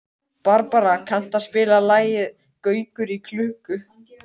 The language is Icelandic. Barbara, kanntu að spila lagið „Gaukur í klukku“?